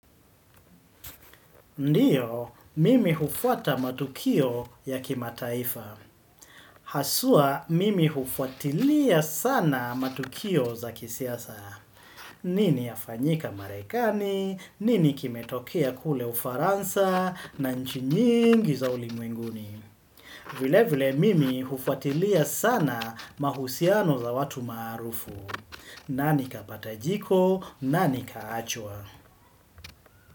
Ndiyo, mimi hufuata matukio ya kimataifa. Haswa, mimi hufuatilia sana matukio za kisiasa. Nini yafanyika marekani, nini kimetokea kule ufaransa na nchi nyingi za ulimwenguni. Vile vile, mimi hufuatilia sana mahusiano za watu maarufu. Nani kapata jiko, nani kaachwa.